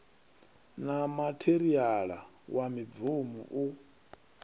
na matheriala wa mibvumo u